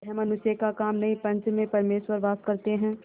यह मनुष्य का काम नहीं पंच में परमेश्वर वास करते हैं